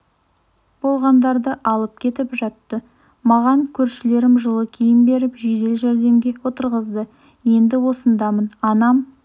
болғандарды алып кетіп жатты маған көршілерім жылы киім беріп жедел жәрдемге отырғызды енді осындамын анам